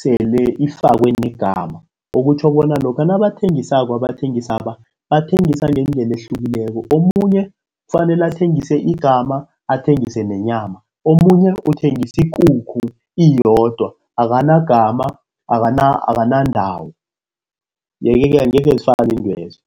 sele ifakwe negama okutjho bona lokha nabathengisako abathengisaba bathengisa ngendlela ehlukileko. Omunye kufanele athengise igama athengise nenyama omunye uthengise ikukhu iyodwa akanagama akanandawo yeke-ke angeke zifane iintwezo.